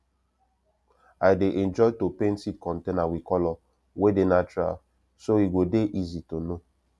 i dey enjoy to paint seed container with colour wey dey natural so e go dey easy to know